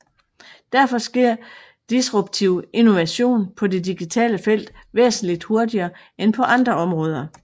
Derfor sker disruptiv innovation på det digitale felt væsentligt hurtigere end på andre områder